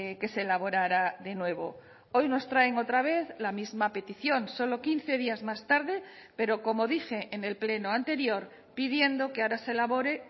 que se elaborara de nuevo hoy nos traen otra vez la misma petición solo quince días más tarde pero como dije en el pleno anterior pidiendo que ahora se elabore